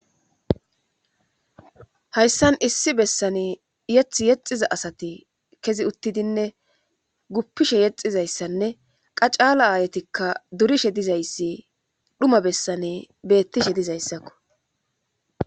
Hayssan issi bessani yethi yexxiza asati kezi uttidinne guppishe yexxizayssanne qa caala aayetikka durishe dizayssi dhuma bessani beettishe dizayssako.